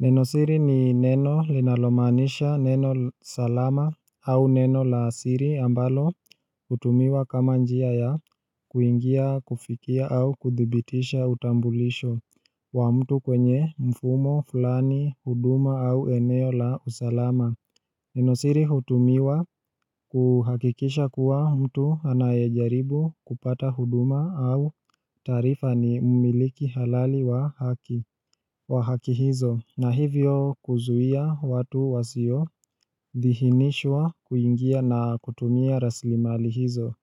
Nenosiri ni neno linalomanisha neno salama au neno la siri ambalo hutumiwa kama njia ya kuingia kufikia au kuthibitisha utambulisho wa mtu kwenye mfumo, fulani, huduma au eneo la usalama. Nenosiri hutumiwa kuhakikisha kuwa mtu anayejaribu kupata huduma au taarifa ni mmiliki halali wa haki. Wa haki hizo, na hivyo kuzuia watu wasio, dihinishwa kuingia na kutumia raslimali hizo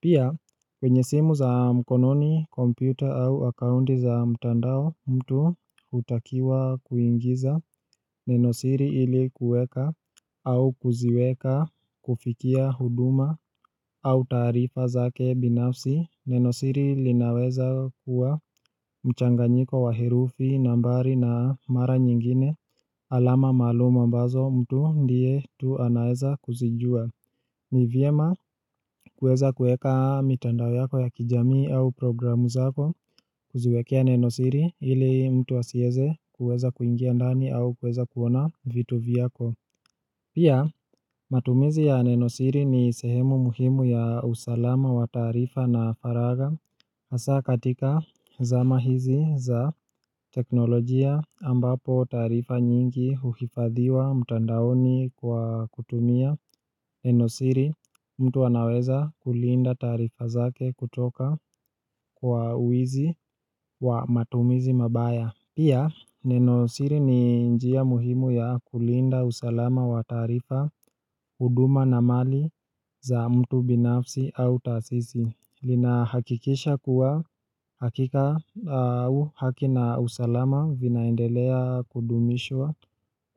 Pia, kwenye simu za mkononi, kompyuta au akaunti za mtandao mtu hutakiwa kuingiza Nenosiri ilikuweka au kuziweka kufikia huduma au taarifa zake binafsi, nenosiri linaweza kuwa mchanganyiko wa herufi, nambari na mara nyingine alama maalum ambazo mtu ndiye tu anaweza kuzijua ni vyema kuweza kueka mitandao yako ya kijamii au programu zako kuziwekea nenosiri ili mtu asieze kuweza kuingia ndani au kuweza kuona vitu vyako Pia, matumizi ya Nenosiri ni sehemu muhimu ya usalama wa taarifa na faragha hasa katika zama hizi za teknolojia ambapo taarifa nyingi huhifadhiwa mtandaoni kwa kutumia Nenosiri mtu anaweza kulinda taarifa zake kutoka kwa wizi wa matumizi mabaya Pia, nenosiri ni njia muhimu ya kulinda usalama wa taarifa, huduma na mali za mtu binafsi au tasisi. Lina hakikisha kuwa hakika au haki na usalama vinaendelea kudumishwa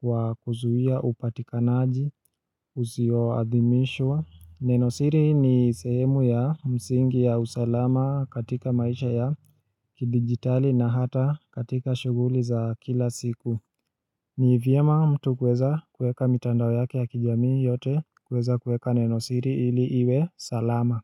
kwa kuzuia upatikanaji, usioadhimishwa. Nenosiri ni sehemu ya msingi ya usalama katika maisha ya kidigitali na hata katika shughuli za kila siku ni vyema mtu kuweza kueka mitandao yake ya kijami yote kuweza kueka nenosiri ili iwe salama.